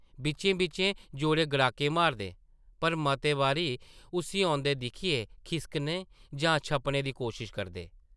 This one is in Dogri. बिच्चें-बिच्चें जोरें गड़ाके मारदे, पर मते बारी उस्सी औंदे दिक्खियै खिसकने जां छप्पने दी कोशश करदे ।